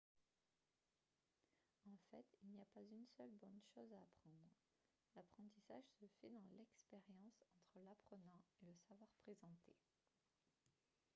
en fait il n'y a pas une seule bonne chose à apprendre l'apprentissage se fait dans l'expérience entre l'apprenant et le savoir présenté